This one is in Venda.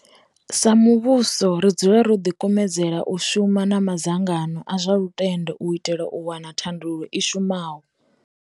Sa muvhuso ri dzula ro ḓikumedzela u shuma na madzangano a zwa lutendo u itela u wana thandululo i shumaho.